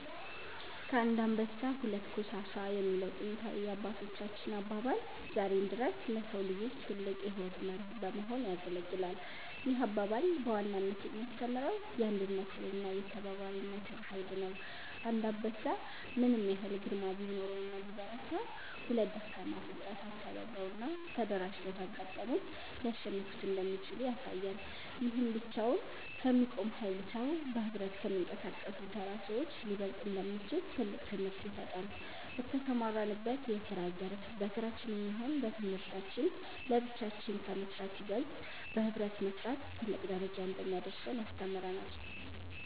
ከአንድ አንበሳ ሁለት ኮሳሳ የሚለው ጥንታዊ የአባቶቻችን አባባል ዛሬም ድረስ ለሰው ልጆች ትልቅ የሕይወት መርህ በመሆን ያገለግላል። ይህ አባባል በዋናነት የሚያስተምረው የአንድነትንና የተባባሪነትን ኃይል ነው። አንድ አንበሳ ምንም ያህል ግርማ ቢኖረውና ቢበረታ፤ ሁለት ደካማ ፍጥረታት ተባብረውና ተደራጅተው ካጋጠሙት ሊያሸንፉት እንደሚችሉ ያሳያል። ይህም ብቻውን ከሚቆም ኃያል ሰው፣ በኅብረት ከሚንቀሳቀሱ ተራ ሰዎች ሊበለጥ እንደሚችል ትልቅ ትምህርት ይሰጣል። በተሰማራንበት የስራ ዘርፍ በስራችንም ይሁን በትምህርታችን ለብቻችን ከመስራት ይበልጥ በህብረት መስራት ትልቅ ደረጃ እንደሚያደርሰን ያስተምረናል።